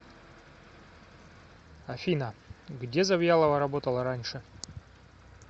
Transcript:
афина где завьялова работала раньше